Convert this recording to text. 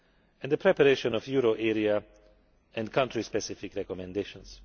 and the preparation of euro area and country specific recommendations.